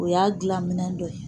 O y'a dilan minɛn dɔ ye